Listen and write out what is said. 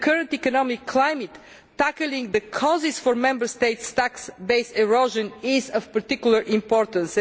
In the current economic climate, tackling the causes for Member States' tax base erosion is of particular importance.